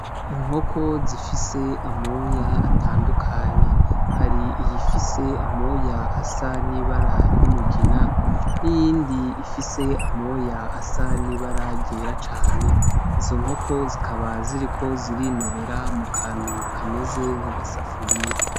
Inkoko zifise amoya atandukanye .Hari iyifise amoya asa n'ibara ry'umugina n'iyindi ifise amoya asa n'ibara ryera cane ,izo nkoko zikaba ziriko zirinobera mu kantu kameze nk'agasafuriya.